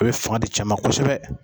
O ye fanga di cɛ ma kosɛbɛ.